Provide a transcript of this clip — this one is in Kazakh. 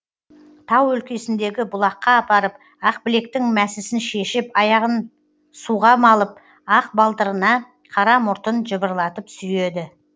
тау өлкесіндегі бұлаққа апарып ақбілектің мәсісін шешіп аяғын суға малып ақ балтырына қара мұртын жыбырлатып сүйеді